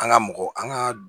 An ka mɔgɔ an ka